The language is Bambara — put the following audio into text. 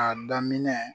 A daminɛ